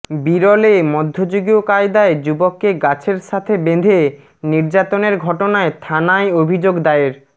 বিরলে মধ্যযুগীয় কায়দায় যুবককে গাছের সাথে বেঁধে নির্যাতনের ঘটনায় থানায় অভিযোগ দায়ের